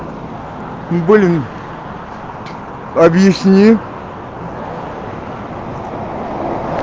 блин объясни